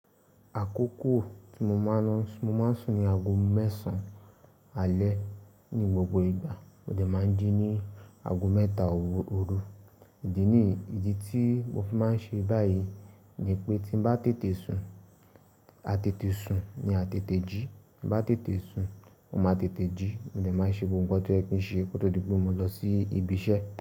Àkókò tí mo máa ń lọ sùn, mo máa ń sùn ní aago mẹ́sàn alẹ́. Ní gbogbo ìgbà mo dẹ̀ máa ń jí ní aago mẹ́ta ooru oru. Ìdí níyi ìdí tí mo fi máa ń ṣe báyìí ni pé tí n bá tètè sùn, a tètè sùn ni a tètè jí. Bá tètè sùn, o máa tètè jí. Mo dẹ̀ máa ń ṣe gbogbo ohun tó yẹ kí n ṣe kó tó di gbó mọ lọ sí ibi iṣẹ́.